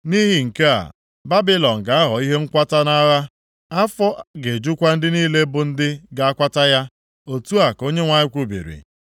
Nʼihi nke a, Babilọn ga-aghọ ihe nkwata nʼagha. Afọ ga-ejukwa ndị niile bụ ndị ga-akwata ya.” Otu a ka Onyenwe anyị kwubiri.